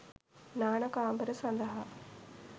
නාන කාමර සඳහා